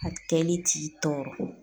A kɛli t'i tɔɔrɔ.